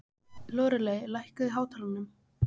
Lóreley, lækkaðu í hátalaranum.